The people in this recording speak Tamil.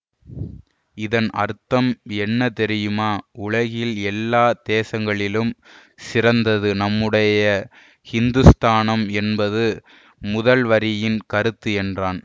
இதன் அர்த்தம் என்ன தெரியுமா உலகில் எல்லா தேசங்களிலும் சிறந்தது நம்முடைய ஹிந்துஸ்தானம் என்பது முதல் வரியின் கருத்து என்றான்